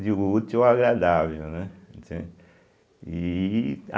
o útil ao agradável, né. e